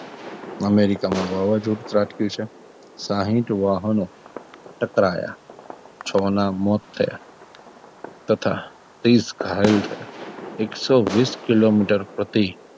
અમેરિકામાં વાવાઝોડું ત્રાટક્યું છે સાહીઠ વાહનો ટકરાયા છો ના મોત થયા તથાં ત્રીસ ઘાયલ થયાં એકસો વિશ કિલોમીટર પ્રતિ,